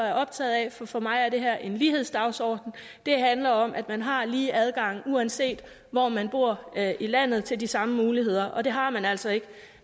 er optaget af for for mig er det her en lighedsdagsorden det handler om at man har lige adgang uanset hvor man bor i landet til de samme muligheder og det har man altså ikke